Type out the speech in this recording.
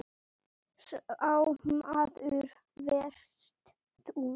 Sá maður varst þú.